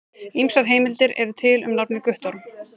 Ýmsar heimildir eru til um nafnið Guttorm.